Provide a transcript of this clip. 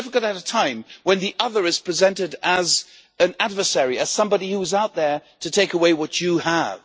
This is difficult at a time when the other is presented as an adversary, and as somebody who is out there to take away what you have.